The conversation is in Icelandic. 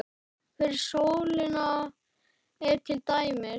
Fyrir sólina er til dæmis